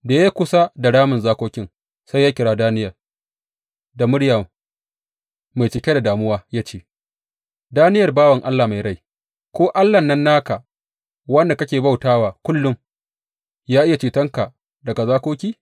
Da ya yi kusa da ramin zakokin, sai ya kira Daniyel da muryar mai cike da damuwa ya ce, Daniyel bawan Allah mai rai, ko Allahn nan naka wanda kake bauta wa kullum, ya iya cetonka daga zakoki?